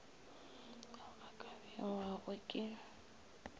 ao a ka bewago ke